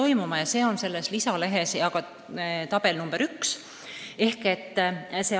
Seda näitab selles lisalehes tabel nr 1.